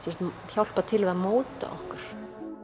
hjálpa til við að móta okkur